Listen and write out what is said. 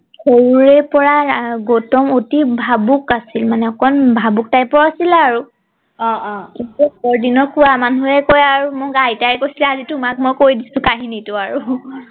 সৰুৰে পৰা গৌতম অতি ভাবুক আছিলে মানে অকন ভাবুক তাইপৰ ৰ আছিল আৰু অ অ আগৰ দিনৰ কোৱা মানুহে কয় আৰু মোক আইতাই কৈছিলে আজি তোমাক মই কৈ দিছো কাহিনীটো আৰু